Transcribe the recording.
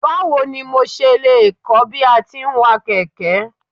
Báwo ni mo ṣe lè kọ́ bí a ti ń wa kẹ̀kẹ́.